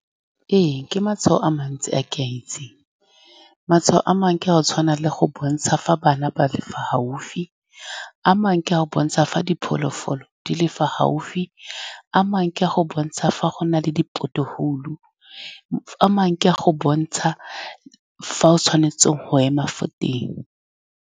Ee, ke matshwao a mantsi a ke a itseng. Matshwao a mangwe ke a go tshwana le go bontsha fa bana ba le fa gaufi, a mangwe a go bontsha fa diphologolo di le fa gaufi, a mangwe a go bontsha fa go na le di-pothole a mangwe ke a go bontsha fa o tshwanetseng go ema fo teng.